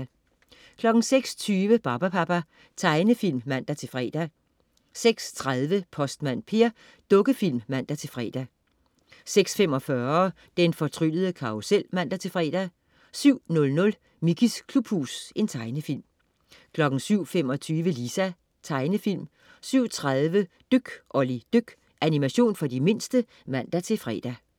06.20 Barbapapa. Tegnefilm (man-fre) 06.30 Postmand Per. Dukkefilm (man-fre) 06.45 Den fortryllede karrusel (man-fre) 07.00 Mickeys klubhus. Tegnefilm 07.25 Lisa. Tegnefilm 07.30 Dyk Olli dyk. Animation for de mindste (man-fre)